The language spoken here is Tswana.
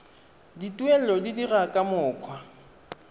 dituelo di dirwa ka mokgwa